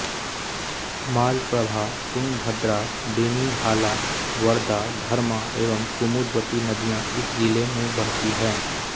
मालप्रभा तुंगभद्रा बेनीहाला वर्दा धर्मा एवं कुमुद्वती नदियाँ इस जिले में बहती हैं